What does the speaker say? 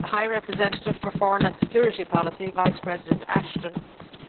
The High Representative for Foreign and Security Policy Vice President Ashton